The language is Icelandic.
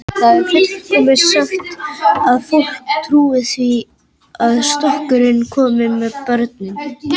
Það er fullmikið sagt að fólk trúi því að storkurinn komi með börnin.